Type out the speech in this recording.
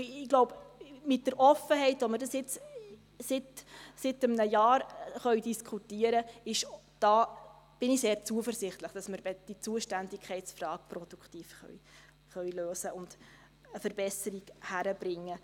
– Ich glaube, mit der Offenheit, mit der wir das jetzt seit einem Jahr diskutieren können, bin ich sehr zuversichtlich, dass wir die Zuständigkeitsfrage produktiv lösen und eine Verbesserung hinkriegen können.